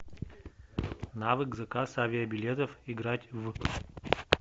навык заказ авибилетов играть в